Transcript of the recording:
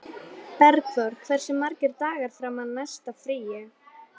Bergþór, hversu margir dagar fram að næsta fríi?